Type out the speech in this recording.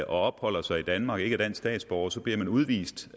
opholder sig i danmark og ikke er dansk statsborger bliver man udvist